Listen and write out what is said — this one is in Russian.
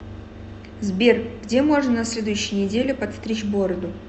сбер где можно на следующей неделе подстричь бороду